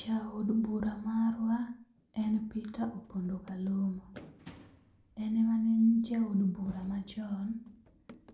Jaod bura marwa en Peter Opondo Kaluma. En ema ne en jaod bura machon,